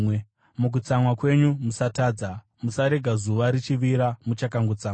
“Mukutsamwa kwenyu, musatadza.” Musarega zuva richivira muchakangotsamwa,